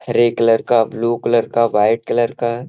हरे colour का blue colour का white colour का --